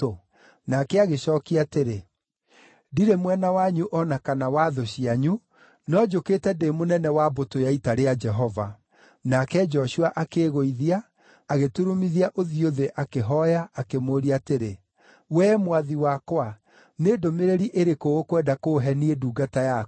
Nake agĩcookia atĩrĩ, “Ndirĩ mwena wanyu o na kana wa thũ cianyu, no njũkĩte ndĩ mũnene wa mbũtũ ya ita rĩa Jehova.” Nake Joshua akĩĩgũithia, agĩturumithia ũthiũ thĩ, akĩhooya, akĩmũũria atĩrĩ, “Wee, Mwathi wakwa, nĩ ndũmĩrĩri ĩrĩkũ ũkwenda kũũhe niĩ ndungata yaku?”